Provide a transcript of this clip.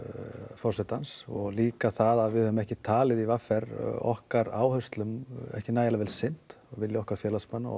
forsetans og líka að við höfum ekki talið í v r okkar áherslum ekki nægjanlega vel sinnt vilji okkar félagsmanna og